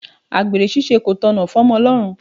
Àgbèrè ṣíṣe kò tọ̀nà f'Omolorun.